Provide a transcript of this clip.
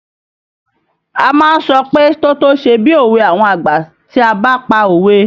A má ń sọ pé "tótó ṣe bí òwe àwọn àgbà" tí a bá pa òwe